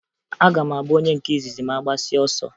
Aga m abụ onye nke izizi ma a gbasịa ọsọ